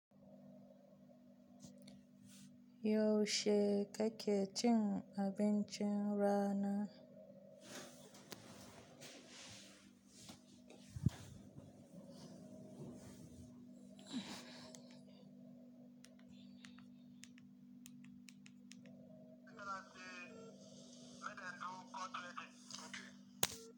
Yaushe kake cin abincin rana?